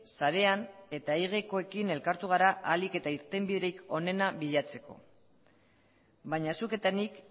sarean eta egekoekin elkartu gara ahalik eta irtenbiderik onena bilatzeko baina zuk eta nik